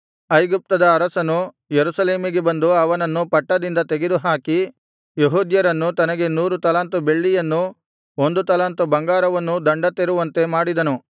ಐಗುಪ್ತದ ಅರಸನು ಯೆರೂಸಲೇಮಿಗೆ ಬಂದು ಅವನನ್ನು ಪಟ್ಟದಿಂದ ತೆಗೆದುಹಾಕಿ ಯೆಹೂದ್ಯರು ತನಗೆ ನೂರು ತಲಾಂತು ಬೆಳ್ಳಿಯನ್ನೂ ಒಂದು ತಲಾಂತು ಬಂಗಾರವನ್ನೂ ದಂಡ ತೆರುವಂತೆ ಮಾಡಿದನು